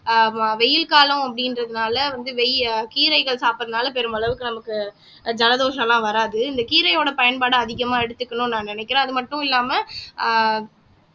வெயில் காலம் அப்படின்றதுனால வந்து வெ கீரைகள் சாப்பிடறதுனால பெருமளவுக்கு நமக்கு ஜலதோஷம்லாம் வராது இந்த கீரையோட பயன்பாடை அதிகமா எடுத்துக்கணும்ன்னு நான் நினைக்கிறேன் அது மட்டும் இல்லாம ஆஹ்